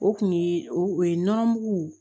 O kun ye o ye nɔnɔ mugu